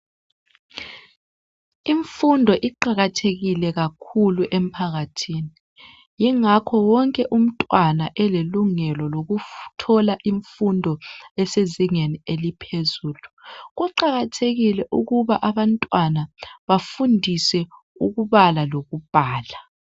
Imfundo iqakathekile kakhulu emphakathini yingakho wonke umntwana elelungelo lokuthola imfundo esezingeni eliphezulu. Kuqakathekile ukuba abantwana bafundiswe ukubala lokubhala.